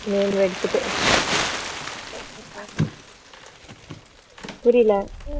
name எடுத்துட்டு புரியல